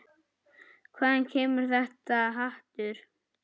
Hvaðan kemur þetta hatur?